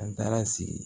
An taara sigi